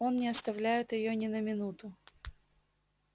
он не оставляет её ни на минуту